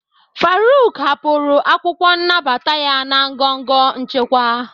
Faruk hapụrụ akwụkwọ nnabata ya na ngọngọ nchịkwa.